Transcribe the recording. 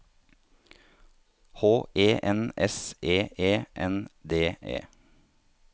H E N S E E N D E